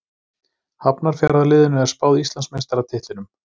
Hafnarfjarðarliðinu er spáð Íslandsmeistaratitlinum.